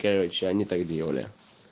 короче они так делали